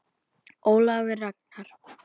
Ólafur Ragnar.